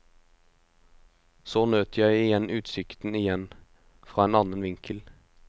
Så nøt jeg igjen utsikten igjen, fra en annen vinkel.